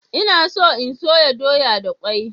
Ina so in soya doya da kwai.